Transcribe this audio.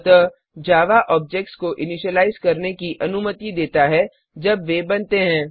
अतः Java objects को initialise करने की अनुमति देता है जब वे बनते हैं